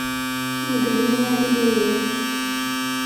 неглинная галерея